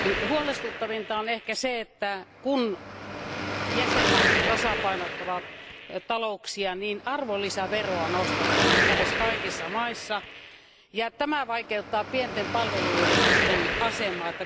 Huolestuttavinta on ehkä se, että kun jäsenvaltiot tasapainottavat talouksiaan, arvonlisäveroa nostetaan nyt lähes kaikissa maissa, ja tämä vaikeuttaa pienten palveluyritysten asemaa.